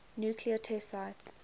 nuclear test sites